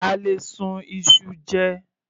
A lè sun iṣu jẹ.